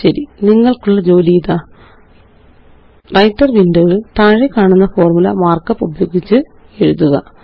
ശരി നിങ്ങള്ക്കുള്ള ജോലി ഇതാ വ്രൈട്ടർ വിൻഡോ യില് താഴെക്കാണുന്ന ഫോര്മുല മാര്ക്കപ്പ് ഉപയോഗിച്ച് എഴുതുക